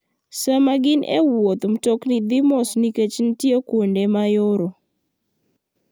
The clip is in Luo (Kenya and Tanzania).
Sama gin e wuoth, mtokni dhi mos nikech nitie kuonde ma yoro.